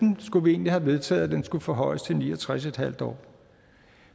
skulle vi egentlig have vedtaget skulle forhøjes til ni og tres år